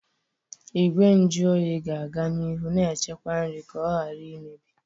Igwe nju oyi ga-aga n'ihu na-echekwa nri ka ọ ghara imebi.